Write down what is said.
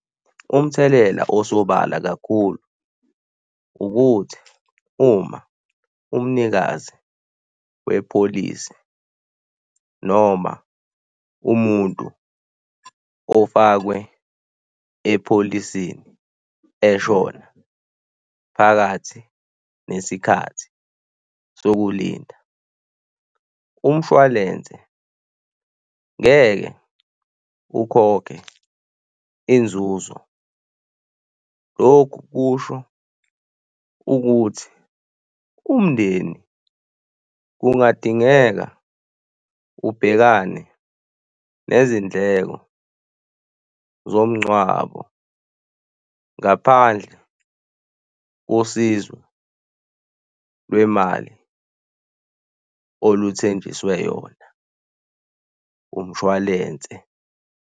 Umthelela osobala kakhulu ukuthi uma umnikazi wepholisi noma umuntu ofakwe e-pholisini, eshona phakathi nesikhathi sokulinda umshwalense ngeke ukhokhe inzuzo. Lokhu kusho ukuthi umndeni kungadingeka ubhekane nezindleko zomngcwabo ngaphandle kosizo lwemali oluthenjiswe yona umshwalense.